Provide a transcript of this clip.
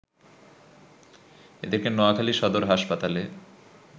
এদেরকে নোয়াখালি সদর হাসপাতালে